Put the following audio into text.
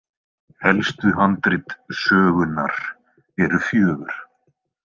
Helstu handrit sögunnar eru fjögur.